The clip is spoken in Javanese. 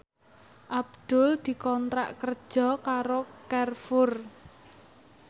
Abdul dikontrak kerja karo Carrefour